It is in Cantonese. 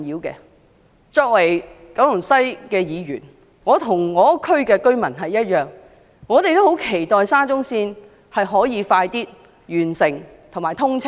作為九龍西的議員，我與當區居民同樣十分期望沙中線可以早日完工及通車。